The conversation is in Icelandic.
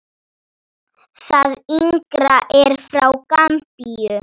Það yngra er frá Gambíu.